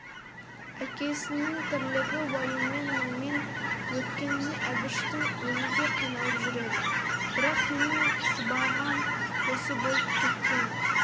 әкесінің тірлігі уайыммен мұңмен өткеніне әбіштің өзі де қиналып жүреді бірақ менің сыбағам осы болып кеткені